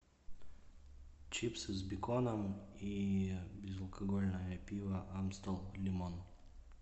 чипсы с беконом и безалкогольное пиво амстел лимон